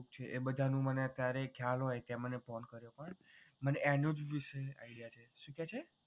એ બધાનું છે મને અત્યારે ખ્યાલ હોય તે મને phone કર્યો મને એનું જ વિશે idea છે શું કહે છે?